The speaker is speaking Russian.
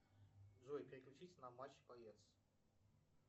джой переключить на матч боец